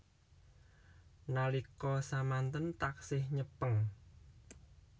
Nalika samanten taksih nyepeng